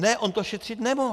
Ne, on to šetřit nemohl.